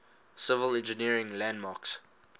civil engineering landmarks